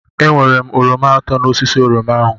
Ewere m oroma atọ n'osisi oroma ahu.